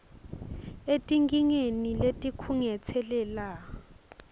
etinkingeni letikhungetse lela